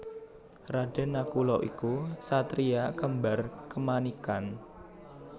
Raden Nakula iku satriya kembar kemanikan